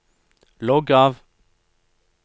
logg av